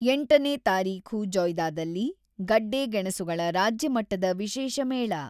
ಎಂಟನೇ ತಾರೀಖು ಜೊಯ್ದಾದಲ್ಲಿ, ಗಡ್ಡೆ, ಗೆಣಸುಗಳ ರಾಜ್ಯ ಮಟ್ಟದ ವಿಶೇಷ ಮೇಳ